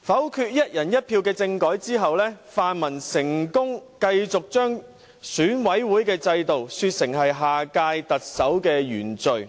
否決"一人一票"的政改之後，泛民成功繼續把選舉委員會的制度說成是下屆特首的原罪，